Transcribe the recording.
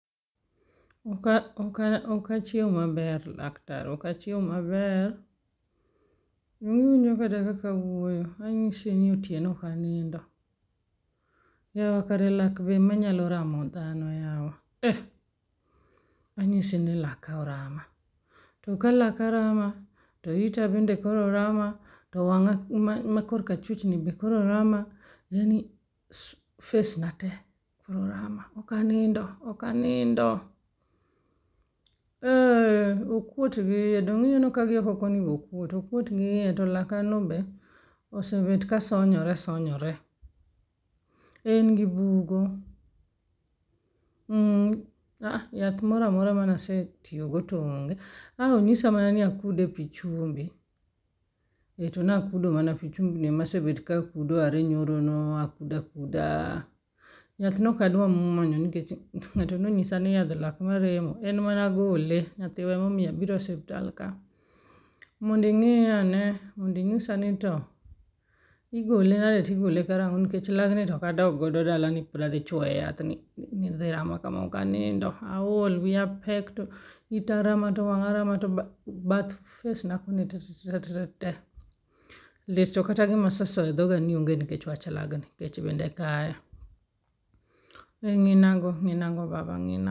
Ok achiew maber laktar ok achiew maber. Donge iwinjo kata kaka awuoyo. Anyisi ni otieno ok anindo. Yawa kare lak be ema nyalo ramo dhano yawa e!. Anyisi ni laka orama. To ka laka rama, to ita bende koro rama. To wang'a ma kor ka chwich ni bende kor rama. Yaani, face na te koro rama ok anindo ok anindo. Eh okwot gi iye donge ineno ka gi oko koni be okwot. To laka no be osebet ka sonyore sonyore. En gi bugo. Ah aha yath moro amora mana asetiyo go to onge. A onyisa mana ni akude pi chumbi to na a kudo mana pi chumbi ema asebet ka kudo are nyoro no akudo akuda. Yath nok adwa muonyo niket ng'ato no nyisa ni yadh lak maremo en mana gole nyathiwa emomiyo abiro e osiptal ka mondo ing'iya ane mondo inyisa ni to igole nade tigole karang'o nikech lag ni to ok adog go dala ni pipod adho choyo e yath ni e yamo kama ok anindo aol wiya pek to ita rama to wanga rama to bath face na kune tetetete lit to kata gima asesoyo e dhoga onge nikech wach laga ni kech bende e kaya. e ng'ina go baba ng'ina go.